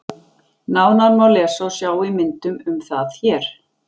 Nánar má lesa og sjá í myndum um það hér.